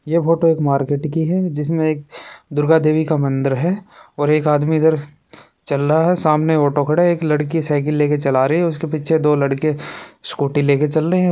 ये फोटो एक मार्केट की है जिसमे एक दुर्गा देवी का मंदिर है और एक आदमी इधर चल रहा है सामने ऑटो खड़ा एक लड़की साइकिल लेके चला रही उसके पीछे दो लड़के स्कूटी लेके चल रहे है।